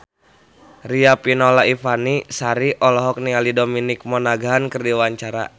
Riafinola Ifani Sari olohok ningali Dominic Monaghan keur diwawancara